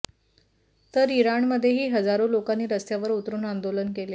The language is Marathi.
तर इराणमध्येही हजारो लोकांनी रस्त्यावर उतरून आंदोलन केले